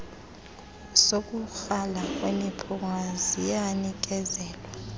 sokukrala kwemiphunga ziyanikezelwa